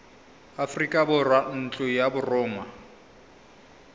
aforika borwa ntlo ya borongwa